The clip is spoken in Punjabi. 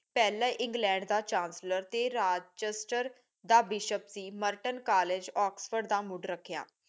ਪਹਿਲਾ ਇੰਗ੍ਲੈਡ ਦਾ ਚਾਂਸਲਰ ਸੀ ਮਰਟਨ ਕਾਲਜ ਓਕ੍ਸ੍ਫੋਰਡ ਦਾ